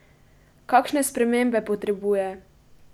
Kakšne spremembe potrebuje?